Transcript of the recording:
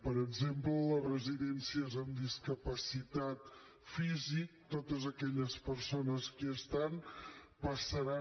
per exemple a les residències de discapacitat física totes aquelles persones que hi estan passaran